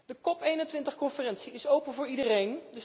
De COP 21 conferentie is open voor iedereen.